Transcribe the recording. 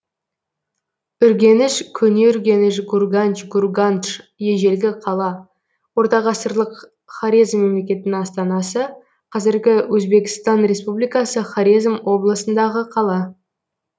үргеніш көне үргеніш гурганч гургандж ежелгі қала ортағасырлық хорезм мемлекетінің астанасы қазіргі өзбектсан республикасы хорезм облысындағы қала